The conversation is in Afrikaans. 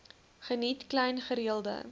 geniet klein gereelde